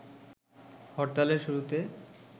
হরতালের শুরুতে